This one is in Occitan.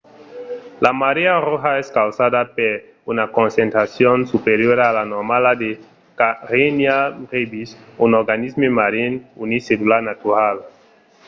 la marèa roja es causada per una concentracion superiora a la normala de karenia brevis un organisme marin unicellular natural